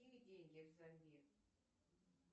какие деньги в замбии